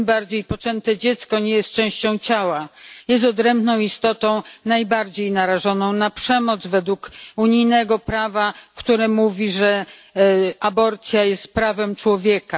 Tym bardziej poczęte dziecko nie jest częścią ciała, jest odrębną istotą najbardziej narażoną na przemoc według unijnego prawa, które mówi, że aborcja jest prawem człowieka.